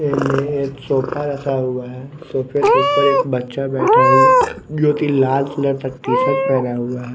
एमे एक सफा रखा हुआ है सोफे के ऊपर एक बच्चा बैठा हुआ जो कि लाल कलर का टी शर्ट पहना हुआ है।